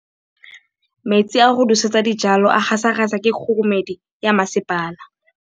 Metsi a go nosetsa dijalo a gasa gasa ke kgogomedi ya masepala.